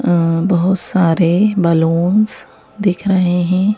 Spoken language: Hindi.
अ बहुत सारे बलूनस दिख रहे हैं।